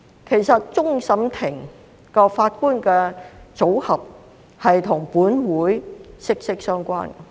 其實，終審法院法官的組合與本會息息相關。